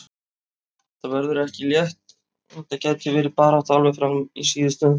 Þetta verður ekki létt og þetta gæti verið barátta alveg fram í síðustu umferð.